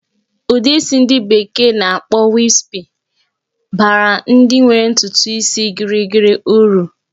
Ụdị isi ndi bekee na-akpọ "wispy" baara ndị nwere ntutu isi gịrịgịrị uru.